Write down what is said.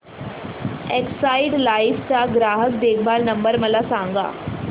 Exide Life चा ग्राहक देखभाल नंबर मला सांगा